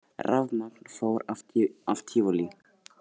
Rafmagn fór af Tívolí